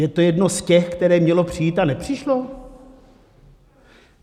Je to jedno z těch, které mělo přijít a nepřišlo?